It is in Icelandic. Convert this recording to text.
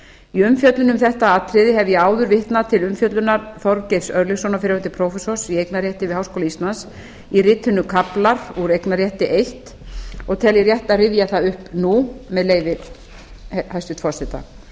í umfjöllun um þetta atriði hef ég áður vitnað til umfjöllunar þorgeirs örlygssonar fyrrverandi prófessors í eignarrétti við háskóla íslands í ritinu kaflar úr eignarrétti eins og tel ég rétt að rifja það upp nú með leyfi hæstvirts forseta